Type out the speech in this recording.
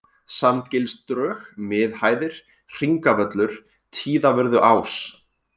Sandgilsdrög, Miðhæðir, Hringavöllur, Tíðavörðuás